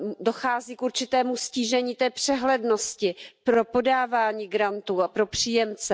Dochází k určitému ztížení té přehlednosti pro podávání grantů a pro příjemce.